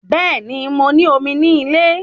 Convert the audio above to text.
Bẹ́ẹ̀ni, mo ní omi ní ilé